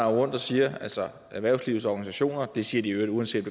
rundt og siger altså erhvervslivets organisationer at og det siger de i øvrigt uanset